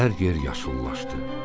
Hər yer yaşıllaşdı.